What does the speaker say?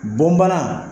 Bɔn bana